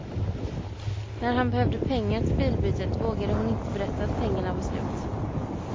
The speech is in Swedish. När han behövde pengar till bilbytet vågade hon inte berätta att pengarna var slut.